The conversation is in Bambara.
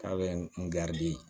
K'a bɛ n di